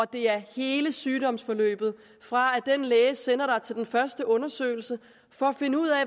det er hele sygdomsforløbet fra lægen sender en til den første undersøgelse for at finde ud af